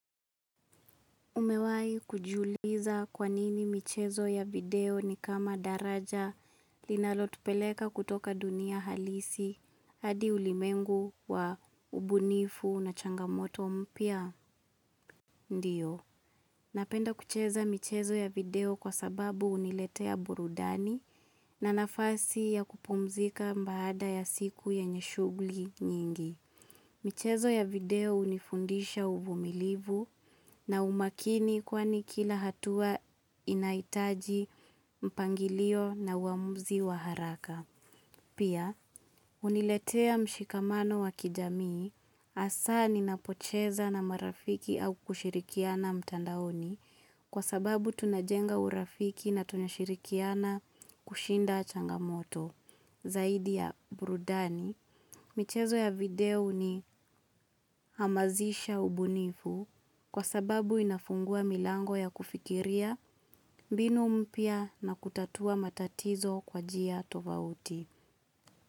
Umewai kujiuliza kwanini michezo ya video ni kama daraja linalotupeleka kutoka dunia halisi hadi ulimengu wa ubunifu na changamoto mpya ndio. Napenda kucheza michezo ya video kwa sababu uniletea burudani na nafasi ya kupumzika mbaada ya siku yenye shugli nyingi. Michezo ya video unifundisha uvumilivu na umakini kwani kila hatua inaitaji mpangilio na uamuzi wa haraka. Pia, uniletea mshikamano wa kijamii asa ni napocheza na marafiki au kushirikiana mtandaoni kwa sababu tunajenga urafiki na tunashirikiana kushinda changamoto zaidi ya burudani. Michezo ya video ni hamazisha ubunifu kwa sababu inafungua milango ya kufikiria mbinu mpya na kutatua matatizo kwa jia tovauti.